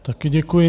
Taky děkuji.